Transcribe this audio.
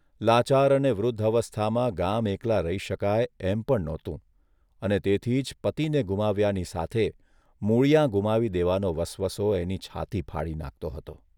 લાચાર અને વૃદ્ધ અવસ્થામાં ગામ એકલાં રહી શકાય એમ પણ નહોતું અને તેથી જ પતિને ગુમાવ્યાની સાથે મૂળીયાં ગુમાવી દેવાનો વસવસો એની છાતી ફાડી નાંખતો હતો.